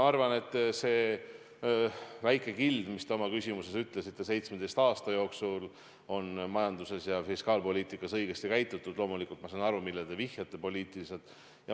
See väike kild, mis te oma küsimuses ütlesite, et 17 aasta jooksul on majanduses ja fiskaalpoliitikas õigesti käitutud – loomulikult ma saan aru, millele te poliitiliselt vihjate.